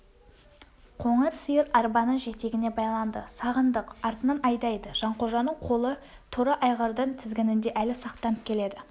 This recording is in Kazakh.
қоңыр сиыр арбаның жетегіне байланды сағындық артынан айдайды жанқожаның қолы торы айғырдың тізгінінде әлі сақтанып келеді